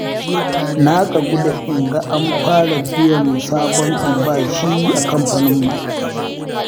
Na ƙagu da in ga an fara biyanmu sabon albashi a kamfaninmu.